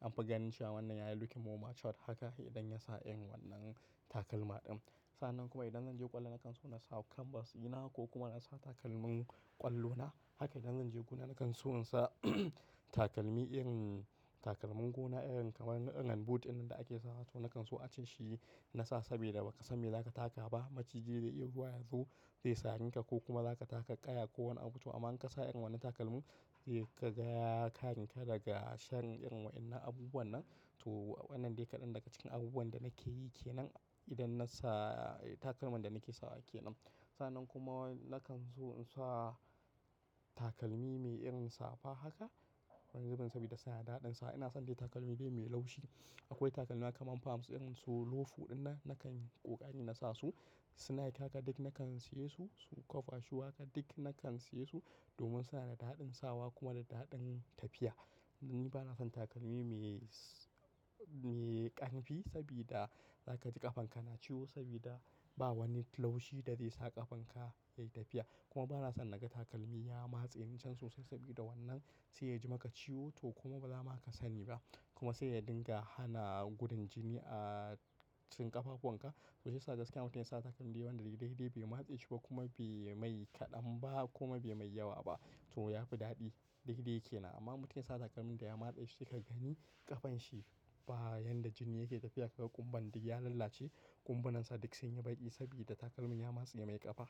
anfi ganin shi a wannan yayi looking ma smart haka idan ya sa irin wannan takalma din. Sannan kuma idan zan je kwallo, hakan so na sa canvas ina ko kuma na sa takalmin ƙwallona. Haka idan zan je gona, nakan so in sa takalmi irin takalmin gona irin kamar na irin boot dinnan ake sawa to nakan so ace shi na sa saboda ba ka san me za ka taka ba. Maciji zai iya zuwa yazo ya reka ko kuma za ka taka ƙaya ko wani abu tu amma an kasa irin wannan takalmin zai ka gaya karinka daga shan irin wa'innan abubuwan nan. To wannan dai kaɗan daga cikin abubuwan da nake yi ke nan idan na sa takalman da nake sawa ke nan. Sannan kuma nakan so in sa takalmi mai irin safa haka wani zubun saboda sa ya daɗin sawa. Ina son dai takalmi bai mai laushi. Akwai takalma kamar famts irin su loofu dinnan nakan ƙoƙari na sa su. Sneak haka dik nakan siye su, su kofa shu haka dik nakan siye su domin suna da daɗin sawa kuma da daɗin tafiya. Ni bana son takalmi mai, mai ƙarfi saboda za ka ji ƙafanka na ciwo saboda ba wani laushi da zai sa ƙafanka yayi tafiya. Kuma bana son naga takalmi ya matse ni cen sosai saboda wannan sai yaji maka ciwo to kuma bazama aka sani ba kuma sai ya dinga hana gudun jini a cikin ƙafafunka. To sai sa gaskiya mutumin ya sa takalmi dayanda dai-dai bai matse shi ba kuma bai mai kaɗan ba kuma bai mai yawa ba to ya fi daɗi. Dai-dai yake nan amma mutumin ya sa takalmin da ya matse shi, ka gani ƙafan shi baya yanda jini yake tafiya daga ƙumba dik ya lalace ƙumba nansa dik sun yi baƙi saboda takalmin ya matse mai ƙafa.